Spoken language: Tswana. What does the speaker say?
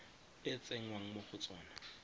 e tsengwang mo go tsona